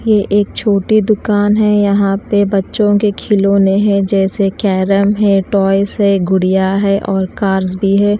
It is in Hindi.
ये एक छोटी दुकान हैं यहाँ पे बच्चों के खिलोने हैं जैसे कैरम है टॉयस हैं गुड़िया हैं और कार्स भी हैं।